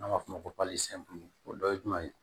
N'an b'a f'o ma o dɔ ye jumɛn ye